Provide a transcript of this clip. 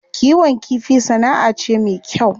Kiwon kifi sana'a ce me kyau.